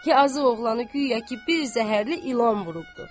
Yazıq oğlanı guya ki, bir zəhərli ilan vurubdur.